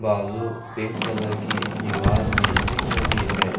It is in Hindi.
बाजू पिंक कलर की दीवार भी दिख रही है।